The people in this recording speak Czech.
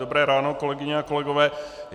Dobré ráno, kolegyně a kolegové.